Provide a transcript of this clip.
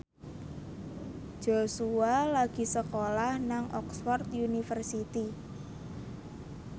Joshua lagi sekolah nang Oxford university